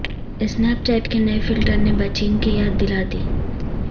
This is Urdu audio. سنیپ چیٹ کے نئے فلٹر نے بچپن کی یاد دلا دی